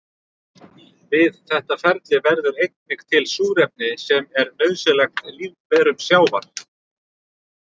Við þetta ferli verður einnig til súrefni sem er nauðsynlegt lífverum sjávar.